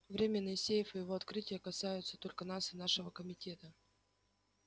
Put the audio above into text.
временной сейф и его открытие касаются только нас и нашего комитета